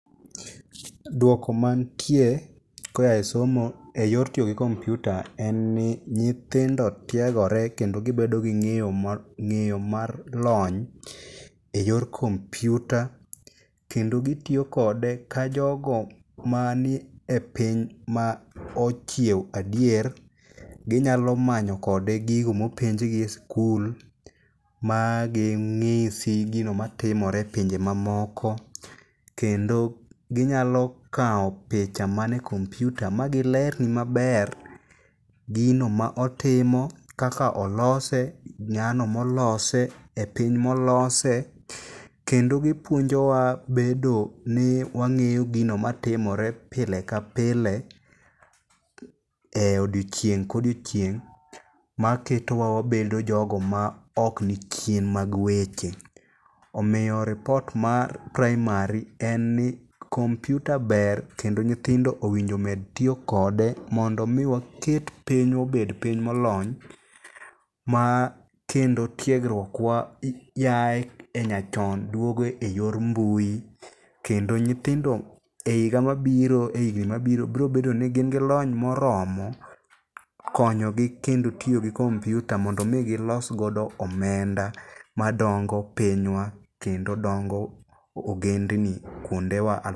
Dwoko mantie koya e somo e yor tiyo gi kompyuta en ni nyithindo tiegore kendo gibedo gi ng'eyo ma, ng'eyo mar lony e yor kompyuta. Kendo gitiyo kode ka jogo manie piny ma ochiewo adier. Ginyalo manyo kode gigo mopenjgi e skul, ma ging'isi gino matimore e pinje mamoko. Kendo ginyalo kawo picha mane kompyuta ma gilerni maber gino ma otimo, kaka olose, ng'ano molose, e piny molose. Kendo gipuonjowa bedo ni wang'eyo gino matimore pile ka pile e odiochieng' kodiochieng', ma ketowa wabedo jogo ma ok ni chien mag weche. Omiyo ripot mar praimari en ni kompyuta ber kendo nyithindo owinjo omed tiyo kode mondo mi waket pinywa obed piny molony. Ma kendo tiegruokwa yaye e nyachon dwogo e yor mbui. Kendo nyithindo e higa mabiro e higni mabiro brobedoni gin gi lony moromo konyogi kendo tiyo gi kompyuta mondo mi gilosgodo omenda ma dongo pinywa kendo dongo ogendni kuondewa al.